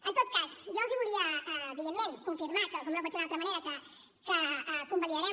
en tot cas jo els volia evidentment confirmar que com no pot ser d’una altra manera convalidarem